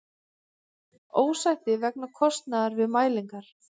Ósætti vegna kostnaðar við mælingar